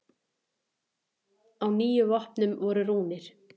Á níu vopnum voru rúnir.